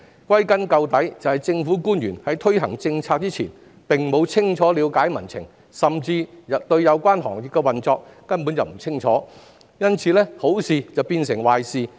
歸根究底，正是政府官員在推行政策前沒有清楚了解民情，甚至根本不了解有關行業的運作，以致好事變壞事。